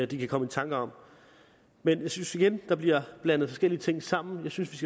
de kan komme i tanker om men jeg synes igen der bliver blandet forskellige ting sammen jeg synes